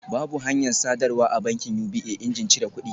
Babu hanyar sadarwa a bankin UBA injin cire kudi